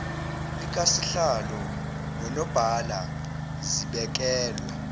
likasihlalo nonobhala zibekelwe